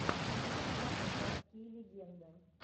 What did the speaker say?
поставь городские легенды